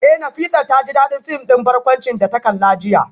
Eh Nafisat taji dadin film din barkwanci da ta kalla jiya